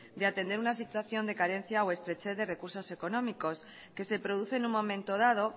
de atender una situación de carencia o estrechez de recursos económicos que se produce en un momento dado